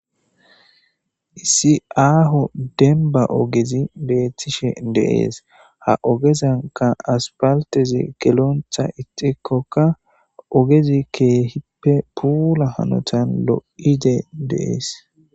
Issi aho demba ogezi betishe de'es ha ogezanka asphaltezi gelonta idhikoka ogezi kehipe pula hanotan lo'idi de'es.